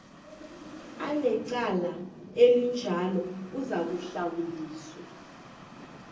anecala elinjalo uzakuhlawuliswa